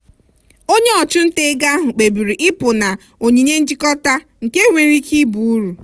onye ọchụnta ego ahụ kpebiri ịpụ na onyinye njikọta nke nwere ike ịba uru.